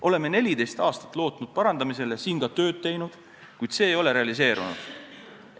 Oleme 14 aastat lootnud, et seda parandatakse, ning selleks ka tööd teinud, kuid see ei ole realiseerunud.